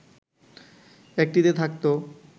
একটিতে থাকতো